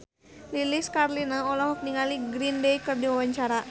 Lilis Karlina olohok ningali Green Day keur diwawancara